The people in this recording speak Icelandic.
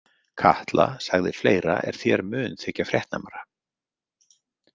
Katla sagði fleira er þér mun þykja fréttnæmara.